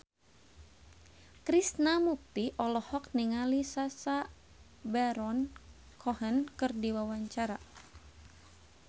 Krishna Mukti olohok ningali Sacha Baron Cohen keur diwawancara